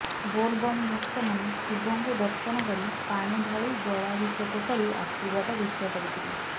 ବୋଲବମ ଭକ୍ତମାନେ ଶିବଙ୍କୁ ଦର୍ଶନକରି ପାଣି ଢାଳି ଜଲାଭିଷେକ କରି ଆଶୀର୍ବାଦ ଭିକ୍ଷାକରି ଥିଲେ